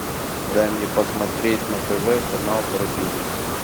дай мне посмотреть на тв канал про бизнес